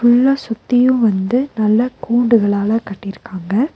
ஃபுல்லா சுத்தியு வந்து நல்லா கூண்டுகளால கட்டிருக்காங்க.